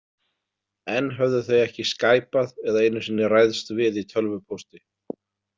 Enn höfðu þau ekki skæpað eða einu sinni ræðst við í tölvupósti.